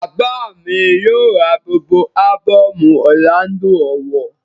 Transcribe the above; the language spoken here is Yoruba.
Bàbá mi yóò ra gbogbo ábọ̀mù Ọrlando Ọwọh